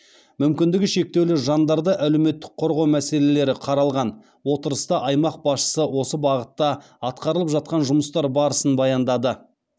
мүмкіндігі шектеулі жандарды әлеуметтік қорғау мәселелері қаралған отырыста аймақ басшысы осы бағытта атқарылып жатқан жұмыстар барысын баяндады